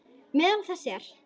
Meðal þess er